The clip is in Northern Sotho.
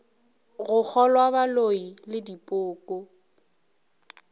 go kgolwa boloi le dipoko